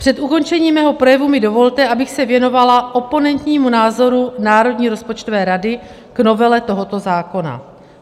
Před ukončením mého projevu mi dovolte, abych se věnovala oponentnímu názoru Národní rozpočtové rady k novele tohoto zákona.